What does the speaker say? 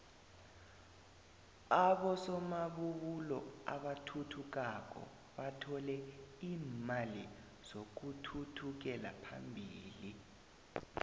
abosomabubulo abathuthukako bathole iimali zokuthuthukela phambili